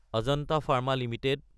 Ajanta pharma Ltd